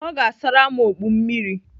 Ọ ga-asara m okpu m mmiri.